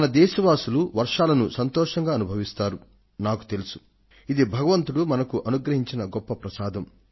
మన దేశ వాసులు వర్షాలను సంతోషంగా అనుభవించాల్సిందే కానీ ఇది సర్వశక్తిమంతుడి వద్ద నుండి మనకు అందే ఒక పవిత్రమైన బహుమతి